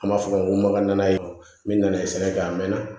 An b'a fɔ ŋo maga na o bi na ye sɛnɛ kɛ a mɛn na